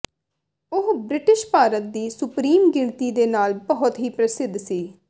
ਉਹ ਬ੍ਰਿਟਿਸ਼ ਭਾਰਤ ਦੀ ਸੁਪਰੀਮ ਗਿਣਤੀ ਦੇ ਨਾਲ ਬਹੁਤ ਹੀ ਪ੍ਰਸਿੱਧ ਸੀ